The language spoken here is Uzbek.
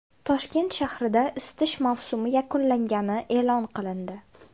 Toshkent shahrida isitish mavsumi yakunlangani e’lon qilindi.